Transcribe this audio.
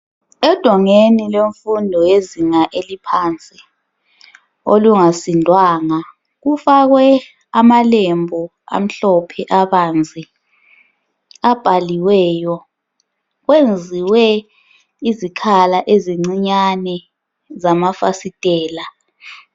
Edongeni lemfundo yezinga elaphansi olungasindwanga, kufakwe amalembu amhlophe, abanzi, abhaliweyo. Kwenziwe izikhala ezincinyane zamafasitela.